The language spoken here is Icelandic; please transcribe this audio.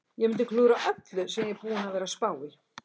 Ég mundi klúðra öllu sem ég er búinn að vera að spá í.